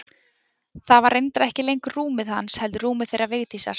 Það var reyndar ekki lengur rúmið hans heldur rúmið þeirra Vigdísar.